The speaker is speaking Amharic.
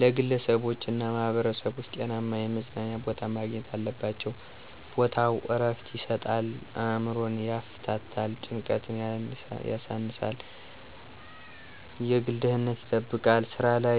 ለግለሰቦችና ማህበረሰቦች ጤናማ የመዝናኛ ቦታ ማግኘት አለባቸው። ቦታው ዕረፍት ይሰጣል፣ አእምሮን ያፍታታል፣ ጭንቀትን ያሳንሳል፣ ግል ደህንነት ይጠብቃል፣ ስራ ላይ